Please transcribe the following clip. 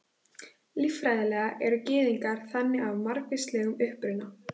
Líffræðilega eru Gyðingar þannig af margvíslegum uppruna.